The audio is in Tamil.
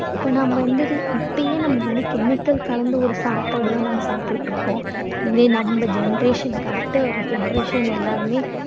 இப்போ நம்ம வந்து இப்பவுமே chemical கலந்து ஒரு சாப்பாடு தான் நம்ம வந்து சாப்பிட்டுட்டு இருக்கோம். இதே நம்ம generation னுக்கு அடுத்த generation எல்லாருமே